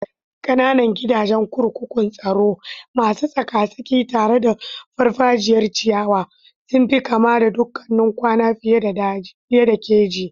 Ƙananan gidajen kurkukun tsaro, masu tsaka-tsaki tare da farfajiyar ciyawa, sun fi kama da dakunan kwana fiye da keji.